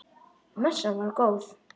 Messan var góð.